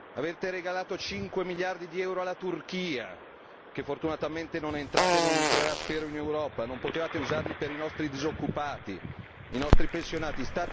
Avete regalato 5 miliardi di euro alla Turchia, che fortunatamente non è entrata e non entrerà, spero, in Europa non potevate usarli per i nostri disoccupati, i nostri pensionati?